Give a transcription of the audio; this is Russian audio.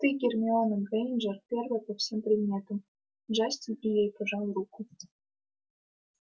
ты гермиона грэйнджер первая по всем предметам джастин и ей пожал руку